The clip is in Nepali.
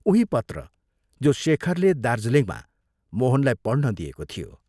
उही पत्र जो शेखरले दार्जीलिङमा मोहनलाई पढ्न दिएको थियो।